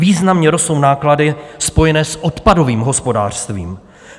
Významně rostou náklady spojené s odpadovým hospodářstvím.